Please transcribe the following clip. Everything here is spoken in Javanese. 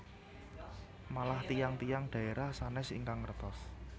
Malah tiyang tiyang dhaerah sanes ingkang ngertos